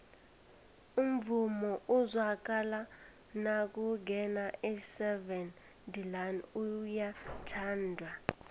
umvumo ozwakala nakungena iseven delaan uyathandwa